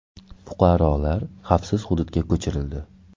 Fuqarolar xavfsiz hududga ko‘chirildi.